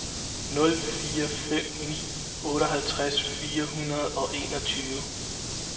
nul fire fem ni otteoghalvfjerds fire hundrede og enogtyve